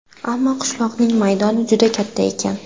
Ammo qishloqning maydoni juda katta ekan.